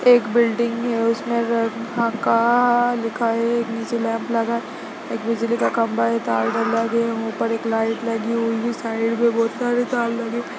एक बिल्डिंग हैं उसमें ये काका लिखा है नीचे लैम्प लगा है एक बिजली का खंभा है तार डला दिये है ऊपर एक लाइट लगी हुई है साइड मे बहुत सारे तार लगे है।